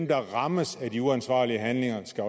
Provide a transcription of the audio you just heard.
der rammes af de uansvarlige handlinger skal